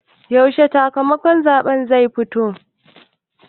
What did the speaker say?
Yaushe sakamakon zaɓen zai fito?